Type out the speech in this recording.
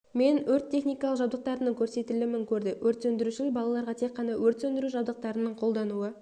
мен өрт техникалық жабдықтарының көрсетілімін көрді өрт сөндірушілер балаларға тек қана өрт сөндіру жабдықтарының қолдануы